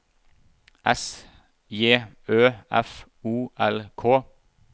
S J Ø F O L K